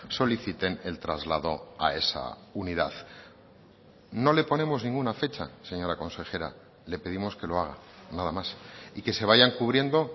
soliciten el traslado a esa unidad no le ponemos ninguna fecha señora consejera le pedimos que lo haga nada más y que se vayan cubriendo